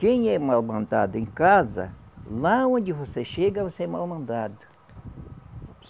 Quem é mal-mandado em casa, lá onde você chega, você é mal-mandado.